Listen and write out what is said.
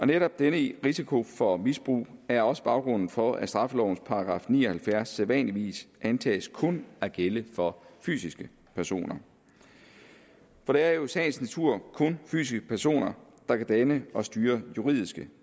netop denne risiko for misbrug er også baggrunden for at straffelovens § ni og halvfjerds sædvanligvis antages kun at gælde for fysiske personer for det er jo i sagens natur kun fysiske personer der kan danne og styre juridiske